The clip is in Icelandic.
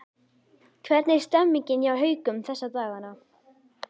Hvernig er stemmningin hjá Haukum þessa dagana?